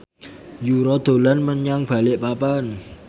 Yura dolan menyang Balikpapan